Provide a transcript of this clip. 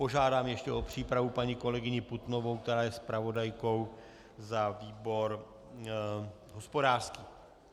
Požádám ještě o přípravu paní kolegyni Putnovou, která je zpravodajkou za výbor hospodářský.